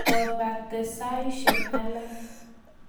Kopate saisyek alak.